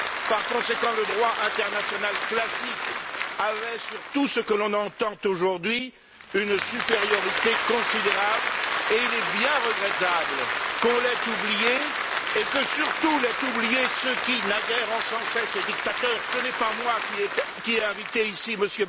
Par conséquent, le droit international classique avait sur tout ce que l'on entend aujourd'hui une supériorité considérable et il est bien regrettable qu'on l'ait oublié et que surtout l'aient oublié ceux qui, naguère, encensaient ces dictateurs! Ce n'est pas moi qui ai invité ici M.